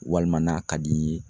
Walima n'a ka d'i ye